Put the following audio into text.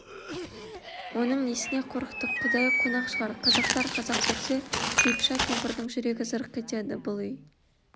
оның несіне қорықтық құдайы қонақ шығар қазақтар қазақ көрсе типыша кемпірдің жүрегі зырқ етеді бұл үй